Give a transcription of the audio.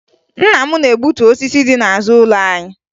Nna m na-egbutu osisi dị n'azụ ụlọ anyị